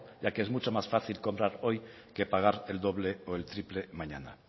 ya que es mucho más fácil comprar hoy que pagar el doble o el triple mañana